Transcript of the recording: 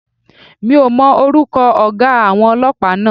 Mi ò mọ orúkọ ọ̀gá àwọn Ọlọ́pàá náà.